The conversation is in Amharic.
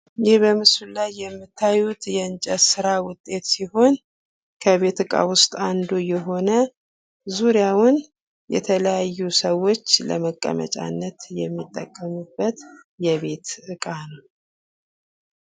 ይህ በምስሉ ላይ የምታዩት የእንጨት ስራ ውጤት ሲሆን ከቤት እቃ ውስጥ አንዱ የሆነ ዙሪያውን የተለያዩ ሰዎች ለመቀመጫነት የሚጠቀሙበት የቤት እቃ ነው።